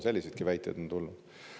Selliseidki väiteid on teilt tulnud.